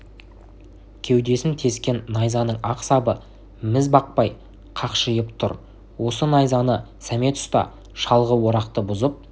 кеудесін тескен найзаның ақ сабы міз бақпай қақшиып тұр осы найзаны сәмет ұста шалғы орақты бұзып